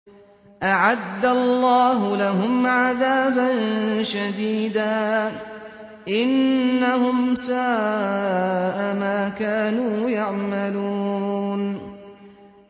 أَعَدَّ اللَّهُ لَهُمْ عَذَابًا شَدِيدًا ۖ إِنَّهُمْ سَاءَ مَا كَانُوا يَعْمَلُونَ